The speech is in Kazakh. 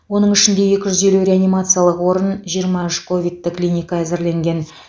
оның ішінде екі жүз елу реанимациялық орын жиырма үш ковидті клиника әзірленген